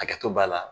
Hakɛto b'a la